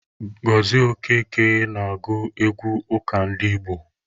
Gozie Okeke na-agụ egwu ụka ndị Igbo.